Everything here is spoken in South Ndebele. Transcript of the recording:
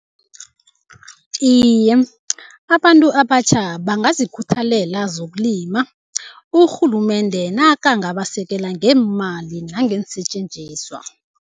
Iye, abantu abatjha bangazikhuthalela zokulima, urhulumende nakangabasekela ngeemali nangeensetjenziswa.